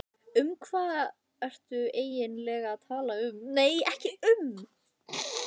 Um hvað ertu eigin lega að tala?